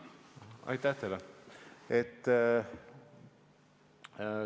Aitäh teile!